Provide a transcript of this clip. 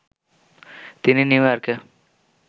তিনি নিউইয়র্কে